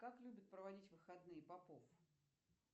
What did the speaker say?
как любит проводить выходные попов